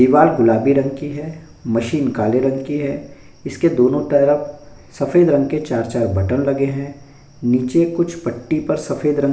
दीवार गुलाबी रंग की है मशीन काले रंग की है इसके दोनों तरफ सफेद रंग के चार-चार बटन लगे हैं नीचे कुछ पट्टी पे सफेद रंग --